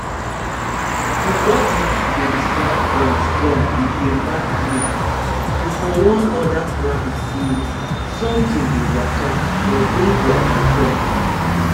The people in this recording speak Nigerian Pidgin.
dem rabbit dey slap ground strong with dem back leg to for warn oda rabbit se somtin dey waka or denja dey com